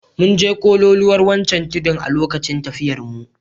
Mun je kololuwar wancan tudun a lokacin tafiyarmu.